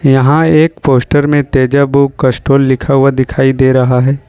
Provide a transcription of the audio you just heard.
यहां एक पोस्टपोस्टर में तेजाब कैस्ट्रॉल लिखा हुआ दिखाई दे रहा है।